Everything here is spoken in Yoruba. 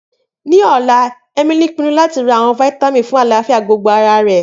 Ni ọla, Emili pinnu lati ra awọn fitamin fun alafia gbogbogbo ara rẹ.